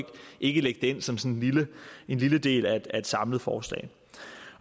ikke lægge det ind som sådan en lille del af et samlet forslag